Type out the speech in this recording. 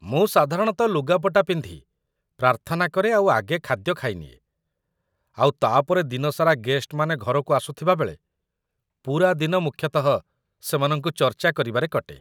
ମୁଁ ସାଧାରଣତଃ ଲୁଗାପଟା ପିନ୍ଧି, ପ୍ରାର୍ଥନା କରେ ଆଉ ଆଗେ ଖାଦ୍ୟ ଖାଇନିଏ, ଆଉ ତା'ପରେ ଦିନସାରା ଗେଷ୍ଟମାନେ ଘରକୁ ଆସୁଥିବା ବେଳେ, ପୂରା ଦିନ ମୁଖ୍ୟତଃ ସେମାନଙ୍କୁ ଚର୍ଚ୍ଚା କରିବାରେ କଟେ ।